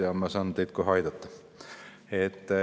Aga ma saan teid kohe aidata.